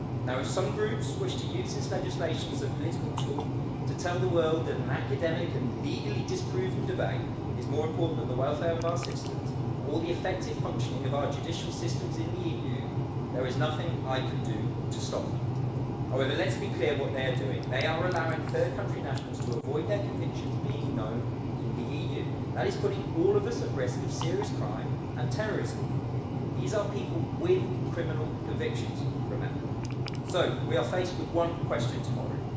If some groups wish to use this legislation as a political tool, and to tell the world that an academic and legally dis proven debate is more important than the welfare of our citizens or the effective functioning of our judicial systems in the EU, there is nothing I can do to stop them. However, let's be clear what they are doing they are allowing third country nationals to avoid their convictions being known in the EU, and that is putting all of us at risk of serious crime and terrorism. These are people with criminal convictions, remember. We are faced with one question tomorrow.